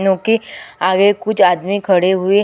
क्यूँकि आगे कुछ आदमी खड़े हुए --